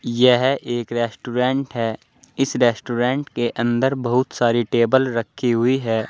यह एक रेस्टोरेंट है इस रेस्टोरेंट के अंदर बहुत सारी टेबल रखी हुई है।